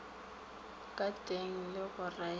ka teng le go railo